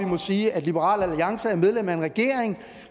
må sige at liberal alliance er medlem af en regering